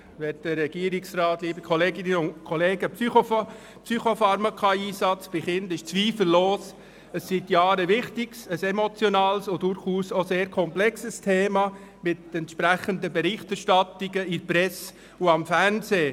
Der Einsatz von Psychopharmaka bei Kindern ist zweifellos seit Jahren ein wichtiges, emotionales und durchaus auch sehr komplexes Thema mit entsprechender Berichterstattung in der Presse und am Fernsehen.